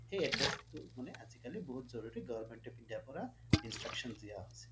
সেই address টো মানে আজিকালি বহুত জৰুৰী government of India পৰা instructions দিয়া হৈছে